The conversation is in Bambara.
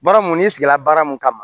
Baara mun n'i sigila baara mun kama